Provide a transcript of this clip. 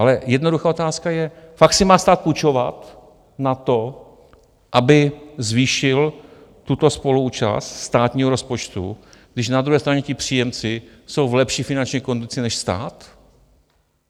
Ale jednoduchá otázka je, fakt si má stát půjčovat na to, aby zvýšil tuto spoluúčast státního rozpočtu, když na druhé straně ti příjemci jsou v lepší finanční kondici než stát?